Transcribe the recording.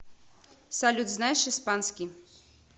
салют знаешь испанский